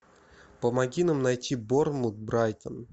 помоги нам найти борнмут брайтон